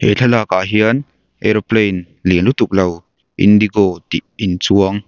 he thlalak ah hian aeroplane lian lutuk lo indigo tih in chuang.